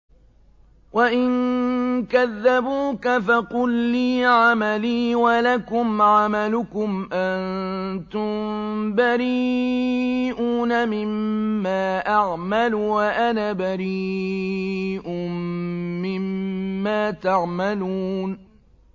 وَإِن كَذَّبُوكَ فَقُل لِّي عَمَلِي وَلَكُمْ عَمَلُكُمْ ۖ أَنتُم بَرِيئُونَ مِمَّا أَعْمَلُ وَأَنَا بَرِيءٌ مِّمَّا تَعْمَلُونَ